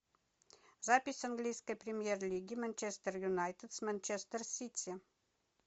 запись английской премьер лиги манчестер юнайтед с манчестер сити